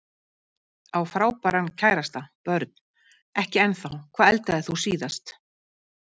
Á frábæran kærasta Börn: Ekki ennþá Hvað eldaðir þú síðast?